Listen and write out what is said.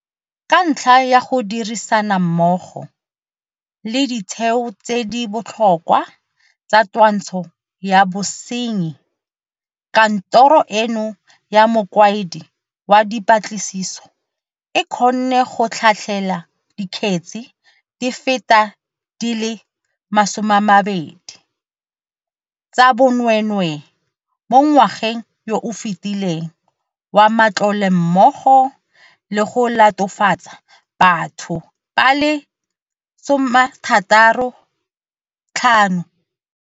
Ka ntlha ya go dirisana mmogo le ditheo tse di botlhokwa tsa twantsho ya bosenyi, Kantoro eno ya Mokaedi wa Dipatlisiso e kgonne go tlhatlhela dikgetse di feta di le 20 tsa bonwee nwee mo ngwageng yo o fetileng wa matlole mmogo le go latofatsa batho ba le 65.